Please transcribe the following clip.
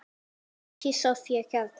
Maki Soffía Kjaran.